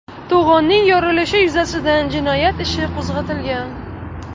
To‘g‘onning yorilishi yuzasidan jinoyat ishi qo‘zg‘atilgan .